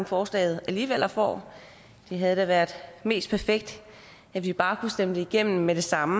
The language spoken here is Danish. forslaget alligevel får det havde været mest perfekt at vi bare havde stemme det igennem med det samme